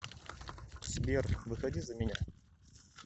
сбер выходи за меня